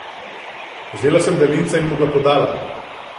Vzela sem daljinca in mu ga podala.